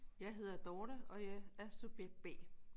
Jeg hedder Dorthe og jeg er subjekt B